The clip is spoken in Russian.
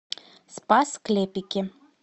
спас клепики